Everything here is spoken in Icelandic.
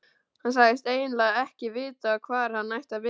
Hann sagðist eiginlega ekki vita hvar hann ætti að byrja.